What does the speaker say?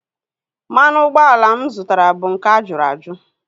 Mmanụ ụgbọala mụ zụtara bụ nke a jụrụ ajụ